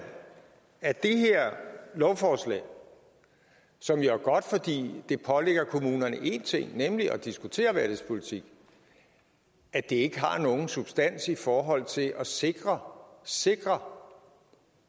at det her lovforslag som jo er godt fordi det pålægger kommunerne en ting nemlig at diskutere værdighedspolitik ikke har nogen substans i forhold til at sikre sikre